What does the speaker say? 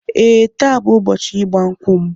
Ee, taa bụ ụbọchị ịgba nkwụ m